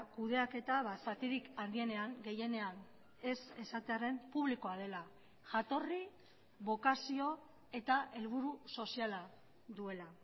kudeaketa zatirik handienean gehienean ez esatearren publikoa dela jatorri bokazio eta helburu soziala duela